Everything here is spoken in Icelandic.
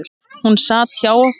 Hún sat hjá okkur